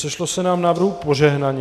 Sešlo se nám návrhů požehnaně.